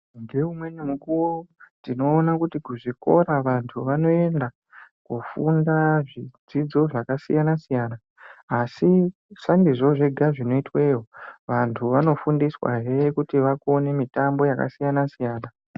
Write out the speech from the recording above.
Ngeamweni mukuwo tinoona kuti kuzvikora vantu vanoenda kufunda zvidzidzo zvakasiyana siyana asi sandizvo zvega zvinoitwemwo vantu vanofundiswa hee kutamba mitombo yakasiyana siyana.